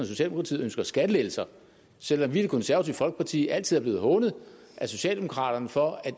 socialdemokratiet ønsker skattelettelser selv om vi i det konservative folkeparti altid er blevet hånet af socialdemokraterne for